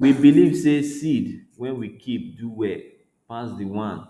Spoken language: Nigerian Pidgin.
we believe say seed wey we keep do well pass the one